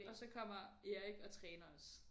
Og så kommer Erik og træner os